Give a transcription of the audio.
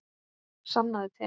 Sannaðu til.